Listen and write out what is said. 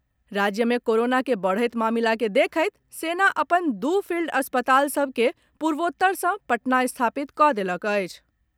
राज्य में कोरोना के बढ़त मामिला के देखैत सेना अपन दू फील्ड अस्पताल सभ के पूर्वोत्तर सँ पटना स्थापित कऽ देलक अछि।